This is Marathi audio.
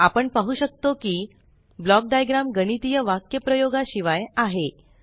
आपण पाहू शकतो कि ब्लॉक डाइग्रॅम गणितीय वाक्यप्रयोगा शिवाय आहे